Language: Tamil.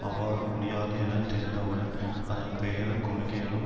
அவ்வாறு முடியாது என தெரிந்தவுடன் அதன் பெயரும் கொள்கைகளும்